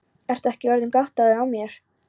Ertu ekki orðinn gáttaður á mér.